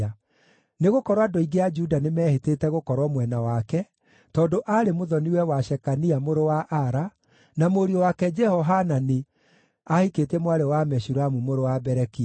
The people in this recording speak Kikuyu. Nĩgũkorwo andũ aingĩ a Juda nĩmehĩtĩte gũkorwo mwena wake, tondũ aarĩ mũthoni-we wa Shekania mũrũ wa Ara, na mũriũ wake Jehohanani aahikĩtie mwarĩ wa Meshulamu mũrũ wa Berekia.